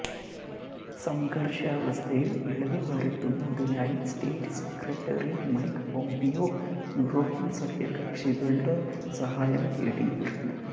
സംഘർഷാവസ്ഥയിൽ ഇളവ് വരുത്തുന്നതിനായി state secretary Mike Pompeo European സഖ്യകക്ഷികളുടെ സഹായം തേടിയിരുന്നു